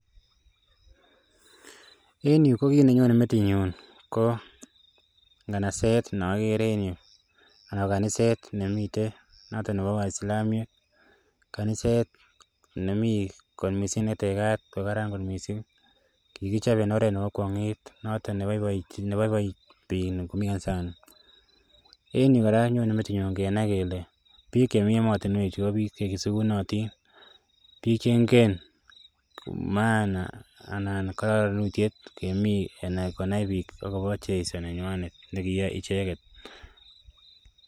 En yuu ko kiit nenyone metinyun ko ng'anaset nokere en yuu ako kaniset nemiten noton nebo waislamiek, kaniset nemii kot mising netekat kokaran kot mising, kikichop en oreet nebo kwong'et noton neboiboi biik en yuu kora konyone metinyun kenai kelee biik chemii emoni ko biik chesikunotin, biik cheng'en maana anan kororonutiet konai biik akobo jeiso nenywanet nekiyoe icheket.